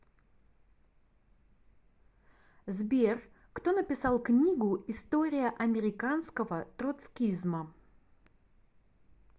сбер кто написал книгу история американского троцкизма